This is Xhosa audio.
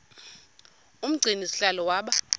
umgcini sihlalo waba